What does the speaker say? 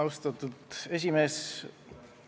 Austatud esimees!